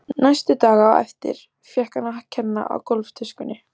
Næstu daga á eftir fékk hann að kenna á gólftuskunni.